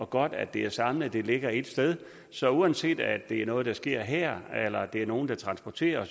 godt at det er samlet det ligger ét sted så uanset at det er noget der sker her eller det nogen der transporterer